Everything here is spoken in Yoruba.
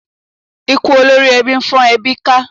Ikú olórí ẹbí fọ́n ẹbí ká.